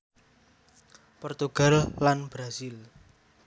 Portugal lan Brazil